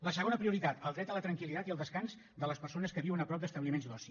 la segona prioritat el dret a la tranquil·litat i al descans de les persones que viuen a prop d’establiments d’oci